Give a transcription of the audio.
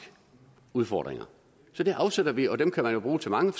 udfordringer så det afsætter vi og dem kan man jo bruge til mange